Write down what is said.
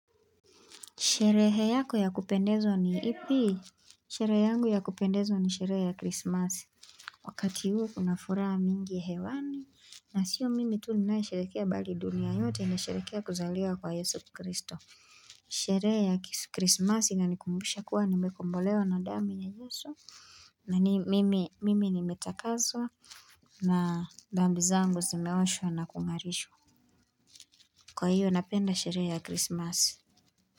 Sherehe yako ya kupendezwa ni ipi? Sherehe yangu ya kupendezwa ni sherehe ya Christmas. Wakati huu kuna furaha mingi hewani. Na sio mimi tu ninayesherekea bali dunia yote inasherekea kuzaliwa kwa Yesu Kristo. Sherehe ya Christmas inanikumbusha kuwa nimekombolewa na damu ya Yesu. Na ni mimi nimetakaswa na dhambi zangu zimeoshwa na kungarishwa. Kwa hiyo napenda sherehe ya Christmas.